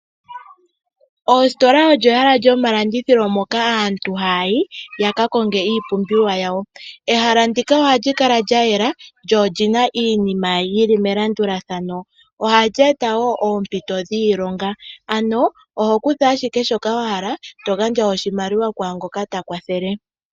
Ositola olyo ehala lyomalandithilo moka aantu haya yi yaka konge iipumbiwa yawo. Ehala ndika oha li kala lya yela lyo olina iinima yili melandulathano ohali eta oompito dhiilonga, oho kutha ashike shoka wa hala eto gandja oshimaliwa kwangoka ta kwathele.